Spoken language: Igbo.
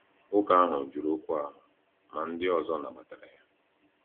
Nwoke ahụ jụrụ oku ahụ, ma ndị ọzọ nabatara ya.